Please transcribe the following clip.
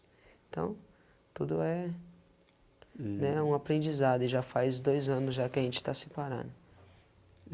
Então, tudo é, né, um aprendizado e já faz dois anos já que a gente está separado.